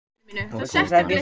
Bókaútgáfan Hólar.